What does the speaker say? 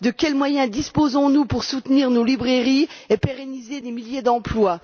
De quels moyens disposons nous pour soutenir nos librairies et pérenniser des milliers d'emplois?